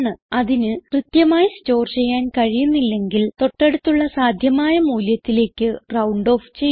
അതിന് കൃത്യമായി സ്റ്റോർ ചെയ്യാൻ കഴിയുന്നില്ലെങ്കിൽ തൊട്ടടുത്തുള്ള സാധ്യമായ മൂല്യത്തിലേക്ക് റൌണ്ട് ഓഫ് ചെയ്യുന്നു